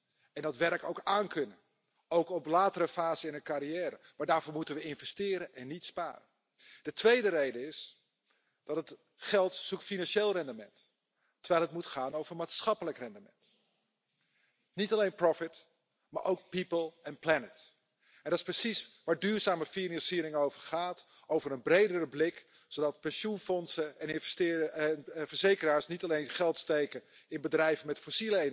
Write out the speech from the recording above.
es la segunda gran amenaza contra la seguridad social. Con contratos temporales y retribuciones indignas, aunque suba la cifra de personas ocupadas, las cotizaciones no serán suficientes. Revisar la edad de jubilación puede ser necesario, pero lo es mucho más dignificar las condiciones de empleo. Finalmente, es urgente que los sistemas de seguridad social sean coherentes con la movilidad de trabajadores que debe funcionar